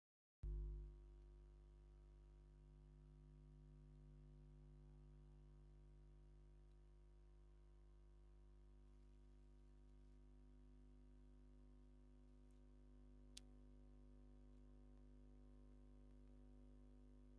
ብርክት ዝበሉ ናይ ፍንጃል መትሓዚ ሰርቪስ ንክሽየጡ ተደርዲሮም ይርከቡ፡፡ ሓንቲ ዝተፈላለየ ቅርፃ ሕብሪ ዘለዋ ፍንጃል ብኢድ ሰብ ተታሒዛ ትርከብ፡፡ ደስ በሃሊን ማራኪትን ፍንጃል እያ፡፡